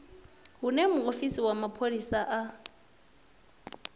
hune muofisi wa mapholisa a